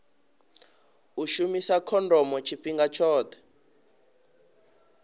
u shumisa khondomo tshifhinga tshoṱhe